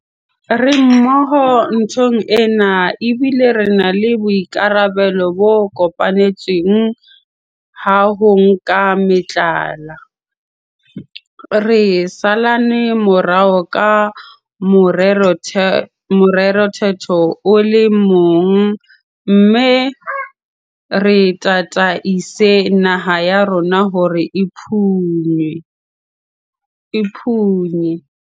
Re mmoho nthong ena, ebile re na le boikarabelo bo kopanetsweng ba ho nka meqala, re salane morao ka morethetho o le mong mme re tataise naha ya rona hore e phunye